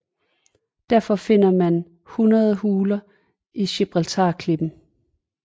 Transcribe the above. Derfor finder man over hundrede huler i Gibraltarklippen